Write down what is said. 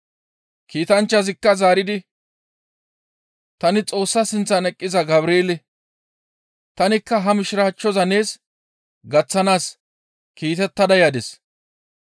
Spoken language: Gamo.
Kiitanchchazikka zaaridi, «Tani Xoossa sinththan eqqiza Gabreele. Tanikka ha Mishiraachchoza nees gaththanaas kiitettada yadis.